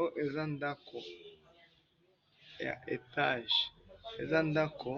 Ooo, eza ndako, ya étage, eza ndako